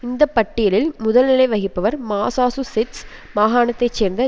இந்த பட்டியலில் முதல் நிலை வகிப்பவர் மசாசூசெட்ஸ் மாகாணத்தைச் சேர்ந்த